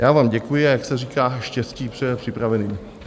Já vám děkuji, a jak se říká, štěstí přeje připraveným.